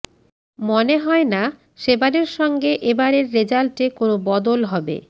মনে হয় না সে বারের সঙ্গে এ বারের রেজাল্টে কোনও বদল হবে